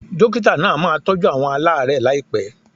Dókítà náà máa tọ́jú àwọn alaarẹ laipe